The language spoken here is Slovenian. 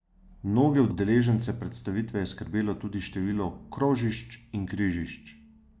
Mnoge udeležence predstavitve je skrbelo tudi število krožišč in križišč.